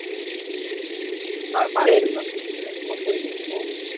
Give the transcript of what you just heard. পায় পায় হম ৰেকৰ্ড কৰি দিয়ে ৱৰ্ল্ড